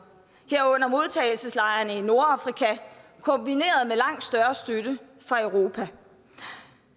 herunder modtagelseslejrene i nordafrika kombineret med langt større støtte fra europa